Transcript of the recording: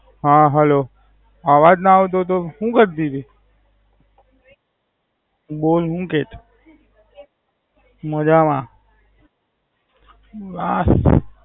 હા હેલો અવાજ ના આવતો તો હું કરતી તી? બોલ હું કેતી? મજામાં હા.